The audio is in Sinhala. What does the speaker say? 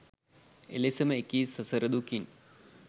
එලෙසම එකී සසර දුකින්